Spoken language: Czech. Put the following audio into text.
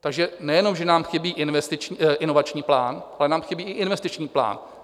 Takže nejenom že nám chybí inovační plán, ale nám chybí i investiční plán.